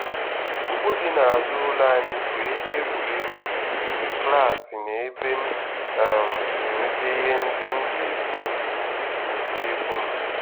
Ugbo dị n'azụ ụlọ anyị bụ ebe egwuregwu, klaasị na ebe m um si enweta ihe ndị m ji esi nri n'useekwu m.